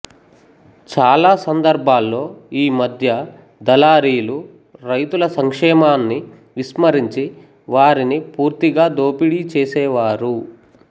చాలా సందర్భాల్లో ఈ మధ్య దళారీలు రైతుల సంక్షేమాన్ని విస్మరించి వారిని పూర్తిగా దోపిడీ చేసేవారు